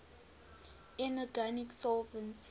inorganic solvents